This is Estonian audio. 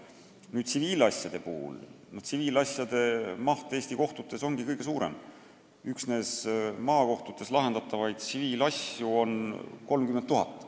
Nüüd, tsiviilasjade maht Eesti kohtutes ongi kõige suurem: üksnes maakohtutes lahendatavaid tsiviilasju on 30 000.